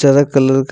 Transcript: चर कलर का--